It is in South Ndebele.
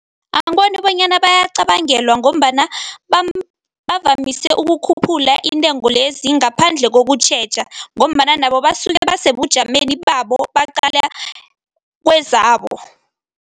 Angiboni bonyana bayacabangelwa ngombana bavamise ukukhuphula intengo lezi ngaphandle kokutjheja ngombana nabo basuke basebujameni babo baqala kwezabo.